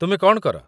ତୁମେ କ'ଣ କର?